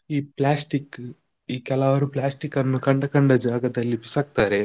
ಈ plastic ಈ ಕೆಲವರು plastic ಅನ್ನು ಕಂಡ ಕಂಡ ಜಾಗದಲ್ಲಿ ಬಿಸಾಕ್ತಾರೆ.